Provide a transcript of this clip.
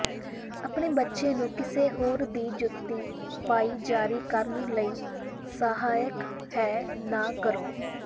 ਆਪਣੇ ਬੱਚੇ ਨੂੰ ਕਿਸੇ ਹੋਰ ਦੀ ਜੁੱਤੀ ਪਾਈ ਜਾਰੀ ਕਰਨ ਲਈ ਸਹਾਇਕ ਹੈ ਨਾ ਕਰੋ